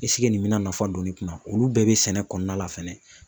nin bɛna nafa don ne kun na olu bɛɛ bɛ sɛnɛ kɔnɔna la fɛnɛ